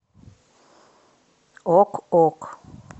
ок ок